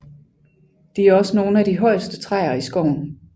De er også nogle af de højeste træer i skoven